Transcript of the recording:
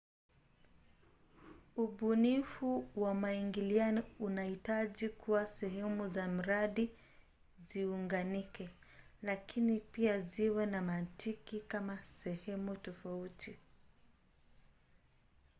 ubunifu wa maingiliano unahitaji kuwa sehemu za mradi ziunganike lakini pia ziwe na mantiki kama sehemu tofauti